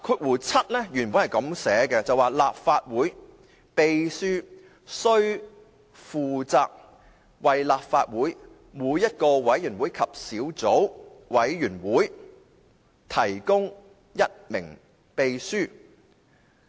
現行的第67條是："立法會秘書須負責為立法會每一個委員會及小組委員會提供一名秘書。